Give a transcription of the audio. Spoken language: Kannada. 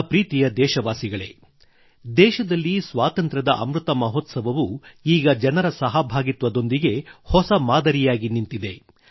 ನನ್ನ ಪ್ರೀತಿಯ ದೇಶವಾಸಿಗಳೇ ದೇಶದಲ್ಲಿ ಸ್ವಾತಂತ್ರ್ಯದ ಅಮೃತ ಮಹೋತ್ಸವವು ಈಗ ಜನರ ಸಹಭಾಗಿತ್ವದೊಂದಿಗೆ ಹೊಸ ಮಾದರಿಯಾಗಿ ನಿಂತಿದೆ